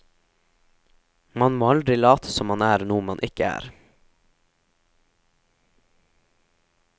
Man må aldri late som man er noe man ikke er.